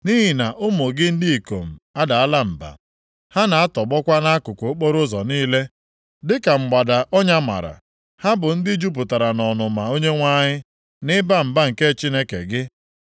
Nʼihi na ụmụ gị ndị ikom adaala mba. Ha na-atọgbọkwa nʼakụkụ okporoụzọ niile, dịka mgbada ọnya mara. Ha bụ ndị jupụtara nʼọnụma Onyenwe anyị na ịba mba nke Chineke gị.